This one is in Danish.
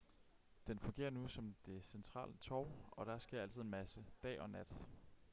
den fungerer nu som det centrale torv og der sker altid en masse dag og nat